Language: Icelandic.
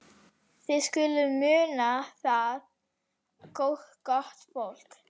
Þið skuluð muna það, gott fólk,